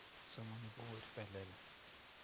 somani bukuit be lel